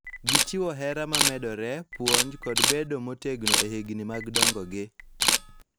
Gichiwo hera ma medore, puonj, kod bedo motegno e higni mag dongogi.